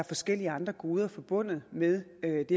forskellige andre goder forbundet med det at